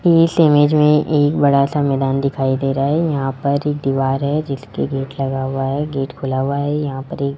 इस इमेज में एक बड़ा सा मैदान दिखाई दे रहा है यहां पर एक दीवार है जिसके गेट लगा हुआ है गेट खुला हुआ है यहां पर --